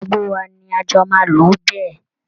Gbogbo wa ni a jọ máa lò ó bẹ́ẹ̀